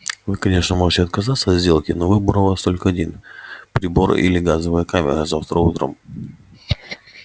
вы конечно можете отказаться от сделки но выбор у вас только один прибор или газовая камера завтра утром